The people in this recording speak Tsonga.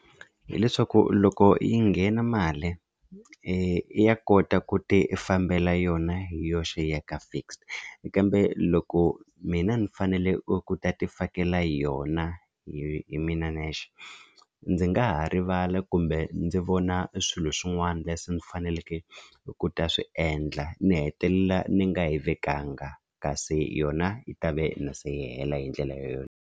Hi leswaku loko yi nghena mali ya kota ku tifambela yona hi yoxe yi ya ka fixed kambe loko mina ni fanele ku ta ti fakela yona hi mina nexe ndzi nga ha rivala kumbe ndzi vona swilo swin'wana leswi ni faneleke ku ta swi endla ni hetelela ni nga yi vekanga kasi yona yi ta ve na se yi hela hi ndlela yoleyo.